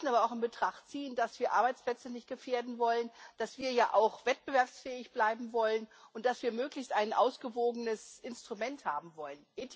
Wir müssen aber auch in Betracht ziehen, dass wir Arbeitsplätze nicht gefährden wollen, dass wir ja auch wettbewerbsfähig bleiben wollen und dass wir möglichst ein ausgewogenes Instrument haben wollen.